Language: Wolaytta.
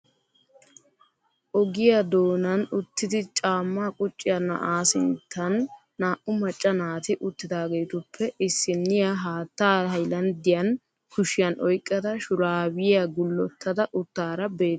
Oogiya doonan uttidi caammaa qucciyaa na'aa sinttan naa"u macca naati uttidaagetuppe iisinniya haattaa haylanddiyan kushiyan oyqqada shuraabiya gullottada uttaara beettawusu.